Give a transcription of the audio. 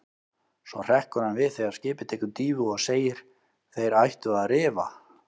Svo hrekkur hann við þegar skipið tekur dýfu og segir: Þeir ættu að rifa.